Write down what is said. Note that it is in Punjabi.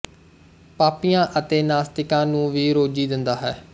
ਪਾਪੀਆਂ ਅਤੇ ਨਾਸਤਿਕਾਂ ਨੂੰ ਵੀ ਰੋਜ਼ੀ ਦਿੰਦਾ ਹੈ